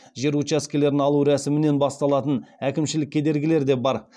жер учаскелерін алу рәсімінен басталатын әкімшілік кедергілер де бар